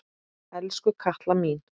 Elsku Katla mín.